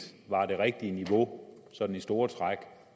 var det rigtige niveau sådan i store træk